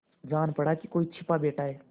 जान पड़ा कि कोई छिपा बैठा है